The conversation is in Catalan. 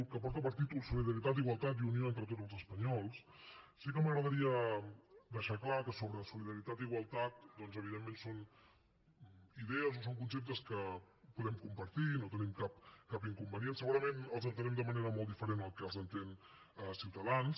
que porta per títol solidaritat igualtat i unió entre tots els espanyols sí que m’agradaria deixar clar que sobre solidaritat i igualtat doncs evidentment són idees o són conceptes que podem compartir no hi tenim cap inconvenient segurament els entenem de manera molt diferent de com els entén ciutadans